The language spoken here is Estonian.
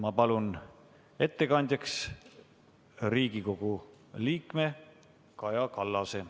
Ma palun ettekandjaks Riigikogu liikme Kaja Kallase.